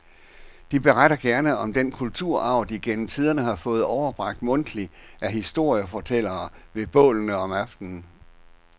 De beretter gerne om den kulturarv, de gennem tiderne har fået overbragt mundtligt af historiefortællerne ved bålene om aftenen.